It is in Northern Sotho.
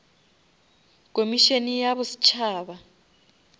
komišene ya bosetšhaba